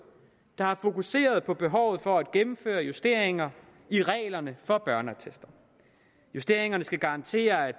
der har fokuseret på behovet for at gennemføre justeringer i reglerne for børneattester justeringerne skal garantere at